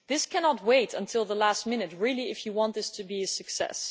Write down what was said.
This cannot wait until the last minute, if you really want this to be a success.